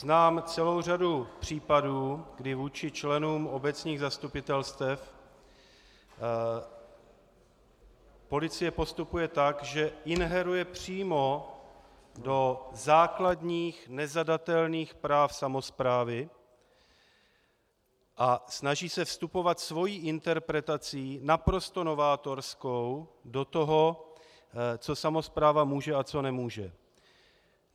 Znám celou řadu případů, kdy vůči členům obecních zastupitelstev policie postupuje tak, že ingeruje přímo do základních, nezadatelných práv samosprávy a snaží se vstupovat svou interpretací, naprosto novátorskou, do toho, co samospráva může a co nemůže.